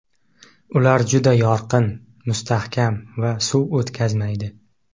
Ular juda yorqin, mustahkam va suv o‘tkazmaydi.